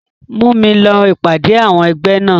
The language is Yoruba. Mú mi lọ ìpàdé àwọn ẹgbẹ́ náà.